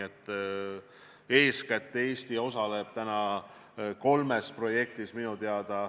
Eesti osaleb minu teada praegu eeskätt kolmes projektis.